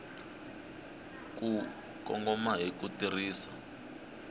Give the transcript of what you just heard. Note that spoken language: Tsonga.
ku kongoma hi ku tirhisa